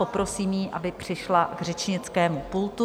Poprosím ji, aby přišla k řečnickému pultu.